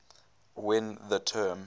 when the term